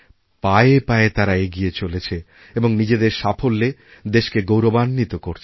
পায়ে পায়ে তারা এগিয়েচলেছে এবং নিজেদের সাফল্যে দেশকে গৌরবাণ্বিত করছে